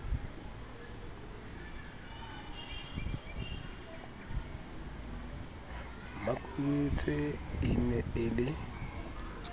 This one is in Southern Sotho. makubetse e ne e le